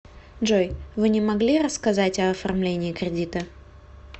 джой вы не могли рассказать о оформлениии кредита